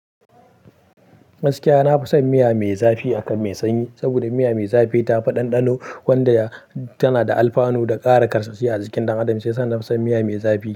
Gaskiya, na fi son miya mai zafi akan mai sanyi, saboda miya mai zafi tafi ɗanɗano wanda tana da alfanu da ƙara karsashi a jikin dan adam, shiyasa na fi son miya mai zafi.